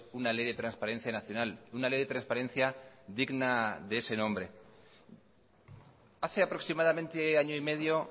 una ley de transparencia nacional una ley de transparencia digna de ese nombre hace aproximadamente año y medio